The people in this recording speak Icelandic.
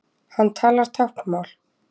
Hann talar táknmál.